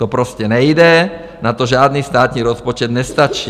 To prostě nejde, na to žádný státní rozpočet nestačí.